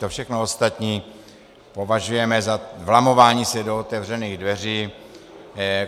To všechno ostatní považujeme za vlamování se do otevřených dveří.